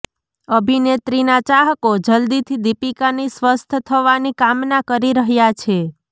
અભિનેત્રીના ચાહકો જલ્દીથી દીપિકાની સ્વસ્થ થવાની કામના કરી રહ્યા છે